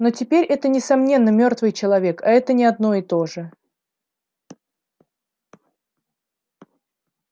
но теперь это несомненно мёртвый человек а это не одно и то же